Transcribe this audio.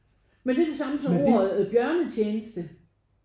Men det er det samme som ordet bjørnetjeneste